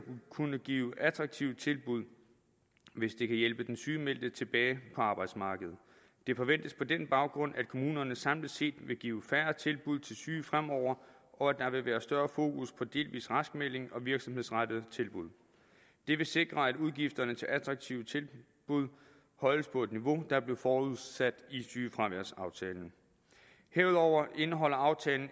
kunne give attraktive tilbud hvis det kan hjælpe den sygemeldte tilbage på arbejdsmarkedet det forventes på den baggrund at kommunerne samlet set vil give færre tilbud til syge fremover og at der vil være større fokus på delvis raskmelding og virksomhedsrettede tilbud det vil sikre at udgifterne til attraktive tilbud holdes på det niveau der blev forudsat i sygefraværsaftalen herudover indeholder aftalen